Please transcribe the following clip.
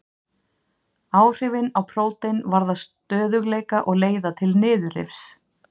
Áhrifin á prótein varða stöðugleika og leiða til niðurrifs.